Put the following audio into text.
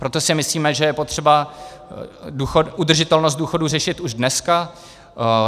Proto si myslíme, že je potřeba udržitelnost důchodů řešit už dneska.